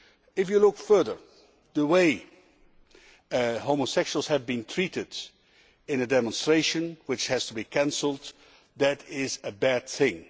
If you look further, the way homosexuals were treated in a demonstration which had to be cancelled is a bad thing.